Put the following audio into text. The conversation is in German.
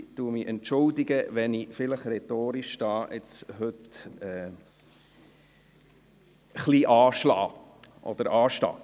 Ich entschuldige mich, wenn ich heute rhetorisch etwas anstehe.